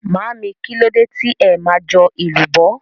Màámi, kílódé tí ẹ ma jọ èlùbọ́?